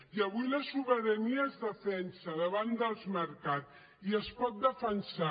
i avui la sobirania es defensa davant dels mercats i es pot defensar